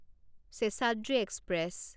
Seshadri express